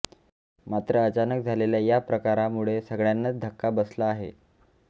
मात्र अचानक झालेल्या या प्रकारामुळे सगळ्यांनाच धक्का बसला आहे